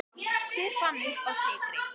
Hver fann uppá sykri?